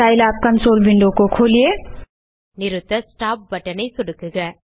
Scilab console window खोलिए நிறுத்த stop button ஐ சொடுக்குக